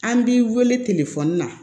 An b'i wele telefɔni na